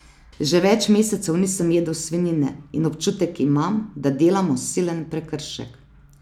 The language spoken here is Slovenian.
Že več mesecev nisem jedel svinjine in občutek imam, da delamo silen prekršek.